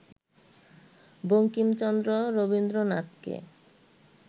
বঙ্কিমচন্দ্র রবীন্দ্রনাথকে